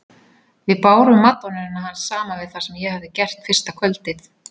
Við bárum madonnuna hans saman við það sem ég hafði gert fyrsta kvöldið.